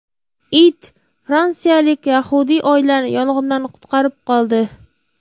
It fransiyalik yahudiy oilani yong‘indan qutqarib qoldi.